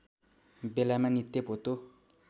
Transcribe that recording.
बेलामा नित्य पोतो